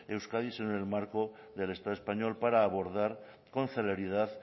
euskadi sino en el marco del estado español para abordar con celeridad